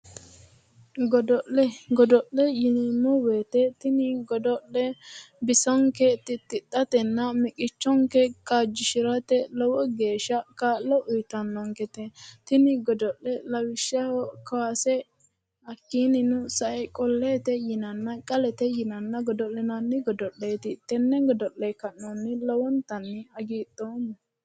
Godo'le yineemmo woyite tini hido'le bisonke titidhatenna miqichonke kaajjishirate lowo geeshsha kaa'lo uuyitannonkete tini godo'le lawishshaho kaase hakiiniinno sae qoleette yinanna qalete yinanna godo'linanni godo'leetti tenne godo'le ka'nohunni lowontanni hagidhoomma